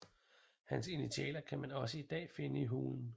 Hans initialer kan man også i dag finde i hulen